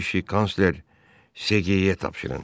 Bu işi kansler Seqeə tapşırın.